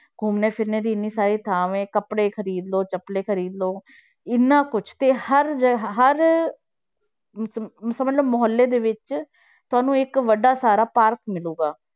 ਘੁੰਮਣ ਫਿਰਨ ਦੀ ਇੰਨੀ ਸਾਰੀ ਥਾਵਾਂ ਕੱਪੜੇ ਖ਼ਰੀਦ ਲਓ, ਚੱਪਲੇ ਖ਼ਰੀਦ ਲਓ, ਇੰਨਾ ਕੁਛ ਤੇ ਹਰ ਹਰ ਸ~ ਸਮਝ ਲਓ ਮੁਹੱਲੇ ਦੇ ਵਿੱਚ ਤੁਹਾਨੂੰ ਇੱਕ ਵੱਡਾ ਸਾਰਾ park ਮਿਲੇਗਾ।